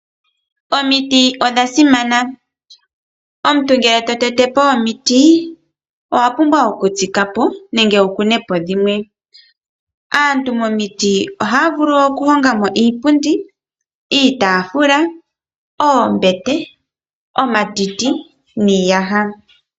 Omiti odha simana. Omuntu ngele totetepo omiti, owa pumbwa okutsikapo, nenge wukunepo dhimwe. Aantu momiti ohaya vulu okuhongamo iipundi, iitaafula, oombete, omatiti, niiyaha.